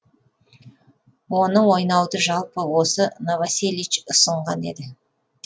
оны ойнауды жалпы осы новоселич ұсынған еді